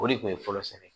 O de kun ye fɔlɔsɛnɛ